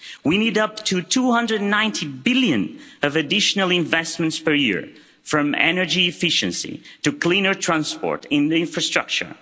We need up to 290 billion of additional investments per year, from energy efficiency to cleaner transport in the infrastructure.